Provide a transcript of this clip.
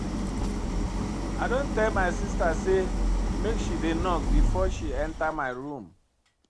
I don tell my sista sey make she dey knock before she enta my room.